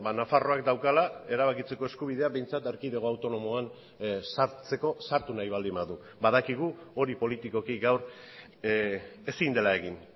nafarroak daukala erabakitzeko eskubidea behintzat erkidego autonomoan sartzeko sartu nahi baldin badu badakigu hori politikoki gaur ezin dela egin